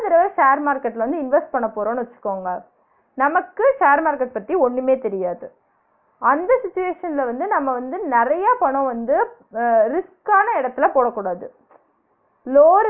share market ல வந்து invest பன்னபோறோம்னு வச்சுகோங்க நமக்கு share market பத்தி ஒண்ணுமே தெரியாது அந்த situation ல வந்து நம்ம வந்து நெறைய பணம் வந்து வ risk ஆன எடத்துல போடக்கூடாது ம்ச் லோ